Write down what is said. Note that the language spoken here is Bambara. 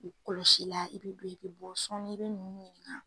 I kɔlɔsi la, i bi don i bi bɔ sɔɔni i bi nunnu ɲininka